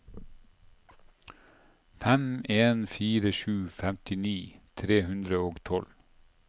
fem en fire sju femtini tre hundre og tolv